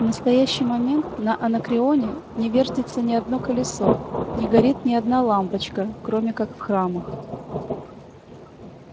в настоящий момент на анакреоне не вертится ни одно колесо не горит ни одна лампочка кроме как в храмах